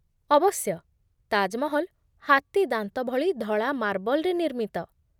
ଅବଶ୍ୟ। ତାଜ ମହଲ୍ ହାତୀଦାନ୍ତଭଳି ଧଳା ମାର୍ବଲରେ ନିର୍ମିତ।